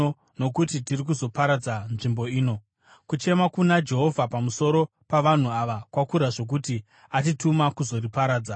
nokuti tiri kuzoparadza nzvimbo ino. Kuchema kuna Jehovha pamusoro pavanhu ava kwakura zvokuti atituma kuzoriparadza.”